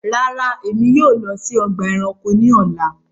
Ràrá, ẹ̀mi yóò lọ sí ọgba ẹ̀ránkò ní ọ̀là